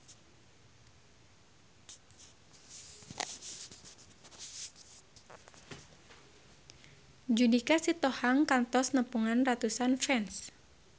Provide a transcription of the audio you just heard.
Judika Sitohang kantos nepungan ratusan fans